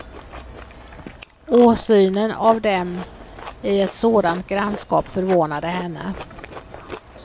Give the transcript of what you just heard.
Åsynen av dem i ett sådant grannskap förvånade henne.